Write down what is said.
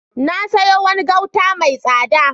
Na sayo wani gauta mai tsada.